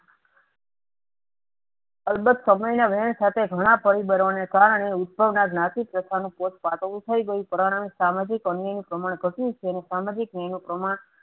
અલબત્ત સમયના વેણ સાથે ઘણા પરિબળોને કારણે ઉદ્ભવના જ્ઞાતિ પાર્થનું પોત પાટવું થઇ ગયું પ્રમાણે સામાજિક અન્યાયનું પ્રમાણ ઘટ્યું છે. અને સામાજિક ન્યાય નું પ્રમાણ